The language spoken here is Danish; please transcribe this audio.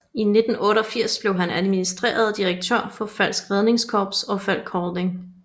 I 1988 blev han administrerende direktør for Falcks Redningskorps og Falck Holding